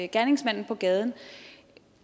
gerningsmanden på gaden